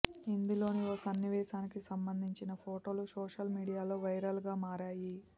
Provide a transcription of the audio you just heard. ఇందులోని ఓ సన్నివేశానికి సంబంధించిన ఫొటోలు సోషల్ మీడియాలో వైరల్గా మారాయి